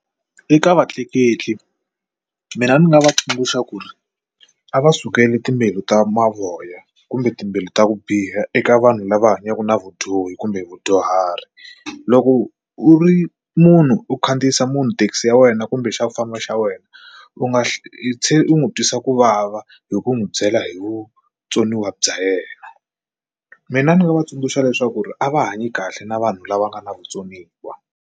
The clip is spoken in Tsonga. Eka vatleketli mina ni nga va tsundzuxa ku ri a va sukeli timbewu ta mavoya kumbe timbilu ta ku biha eka vanhu lava hanyaka na vudyohi kumbe vadyuhari loko u ri munhu u khandziyisa munhu thekisi ya wena kumbe xa kufamba xa wena u nga hle tshe u n'wi twisa kuvava hi ku n'wi byela hi vutsoniwa bya yena mina ni nga va tsundzuxa leswaku a va hanyi kahle na vanhu lava nga na vutsoniwa.